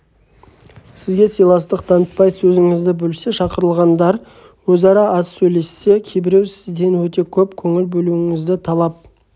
сізге сыйластық танытпай сөзіңізді бөлсе шақырылғандар өзара аз сөйлессе кейбіреу сізден өте көп көңіл бөлуіңізді талап